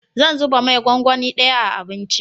Zan zuba mai gwangwani daya a abinci